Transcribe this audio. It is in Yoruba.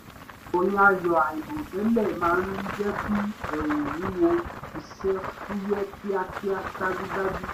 ròyìn ayọ̀ àìrò tẹ́lẹ̀ maá ń jẹ́ kí ẹrù wúwo iṣẹ́ fúyẹ́ kíakíá dájúdájú